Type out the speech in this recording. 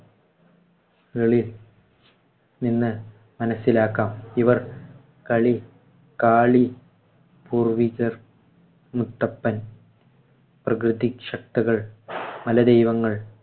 കളി നിന്ന് മനസിലാക്കാം. ഇവർ കളി~ കാളി. പൂർവ്വികർ, മുത്തപ്പൻ, പ്രകൃതിശക്തികൾ, മലദൈവങ്ങൾ